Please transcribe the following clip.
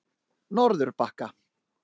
Norðurbakka